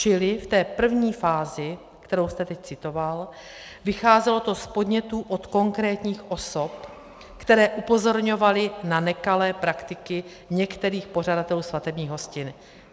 Čili v té první fázi, kterou jste teď citoval, vycházelo to z podnětů od konkrétních osob, které upozorňovaly na nekalé praktiky některých pořadatelů svatebních hostin.